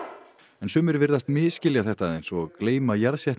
en sumir virðast misskilja þetta aðeins og gleyma